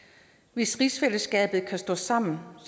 hvis rigsfællesskabet kan stå sammen